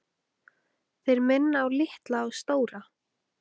Þeir minna á Litla og Stóra.